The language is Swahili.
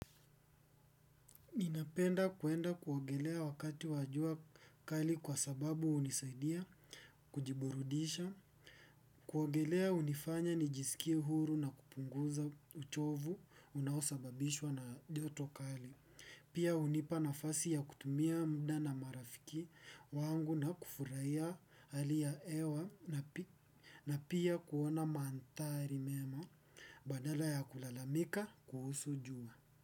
Ninapenda kwenda kuogelea wakati wa jua kali kwa sababu hunisaidia kujiburudisha, kuogelea hunifanya nijisikie huru na kupunguza uchovu unahosababishwa na joto kali. Pia hunipa nafasi ya kutumia muda na marafiki wangu na kufurahia hali ya hewa na pia kuona mandhari mema, badala ya kulalamika kuhusu jua.